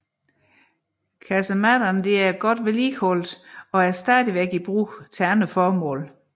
Kasemattene er godt vedligeholdt og er stadig i brug til andre formål